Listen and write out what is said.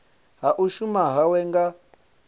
ha u shuma hawe nga